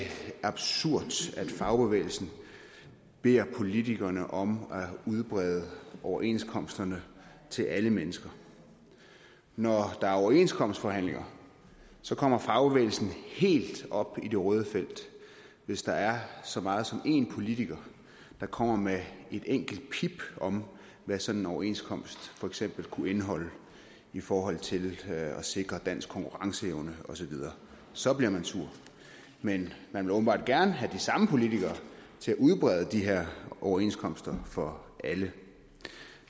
absurd at fagbevægelsen beder politikerne om at udbrede overenskomsterne til alle mennesker når der er overenskomstforhandlinger kommer fagbevægelsen helt op i det røde felt hvis der er så meget som én politiker der kommer med et enkelt pip om hvad sådan en overenskomst for eksempel kunne indeholde i forhold til at sikre dansk konkurrenceevne og så videre så bliver man sur men man vil åbenbart gerne have de samme politikere til at udbrede de her overenskomster for alle